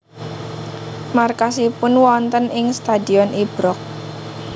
Markasipun wonten ing Stadion Ibrox